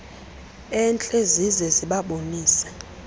entle zize zibabonise